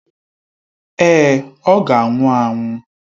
Èé, ọ ga-anwụ anwụ.